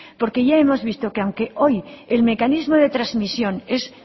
porque ya hemos visto que aunque hoy el mecanismo de trasmisión es